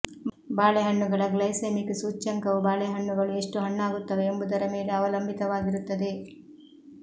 ಬಾಳೆಹಣ್ಣುಗಳ glycaemic ಸೂಚ್ಯಂಕವು ಬಾಳೆಹಣ್ಣುಗಳು ಎಷ್ಟು ಹಣ್ಣಾಗುತ್ತವೆ ಎಂಬುದರ ಮೇಲೆ ಅವಲಂಬಿತವಾಗಿರುತ್ತದೆ